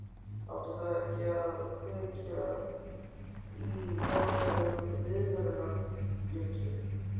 Átti það ekki að kveikja á einhverjum viðvörunarbjöllum?